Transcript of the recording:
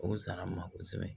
O sara n ma kosɛbɛ